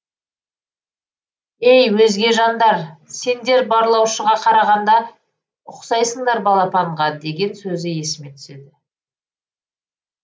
ей өзге жандар сендер барлаушыға қарағанда ұқсайсыңдар балапанға деген сөзі есіме түседі